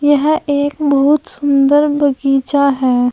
यह एक बहुत सुंदर बगीचा है।